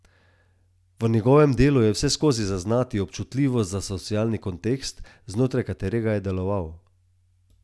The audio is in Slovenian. V njegovem delu je vseskozi zaznati občutljivost za socialni kontekst, znotraj katerega je deloval.